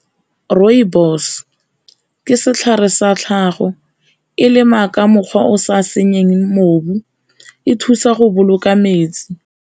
Rooibos, ke setlhare sa tlhago e lema ka mokgwa o sa senyeng , e thusa go boloka metsi.